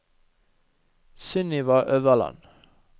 Sunniva Øverland